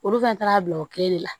Olu fɛn taara bila o kelen de la